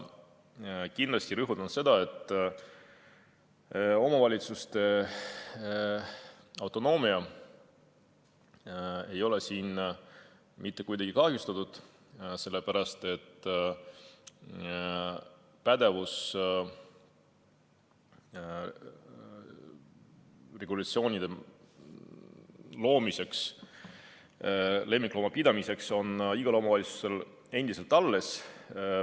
Kindlasti rõhutan, et omavalitsuste autonoomia ei ole siin mitte kuidagi kahjustatud, sellepärast et pädevus lemmiklooma pidamise regulatsioonide loomiseks on igal omavalitsusel endiselt alles.